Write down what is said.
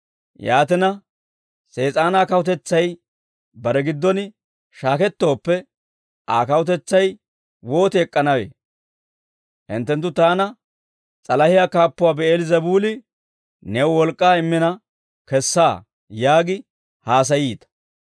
Yaatina Sees'aanaa kawutetsay bare giddon shaakettooppe Aa kawutetsay wooti ek'k'anawee? Hinttenttu taana, ‹S'alahiyaa kaappuwaa Bi'eel-Zebuuli new wolk'k'aa immina kessaa› yaagi haasayiita.